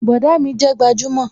Bọ̀dá mi jẹ́ gbajúmò